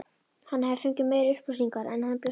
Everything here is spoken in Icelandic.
Hann hafði fengið meiri upplýsingar en hann bjóst við.